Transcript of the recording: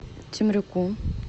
темрюку